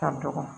Ka dɔgɔ